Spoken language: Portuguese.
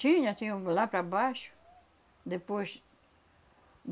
Tinha, tinha uma lá para baixo. Depois,